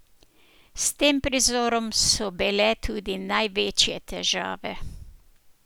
S tem prizorom so bile tudi največje težave.